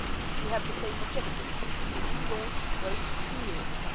We have the same objectives to relaunch growth in Europe.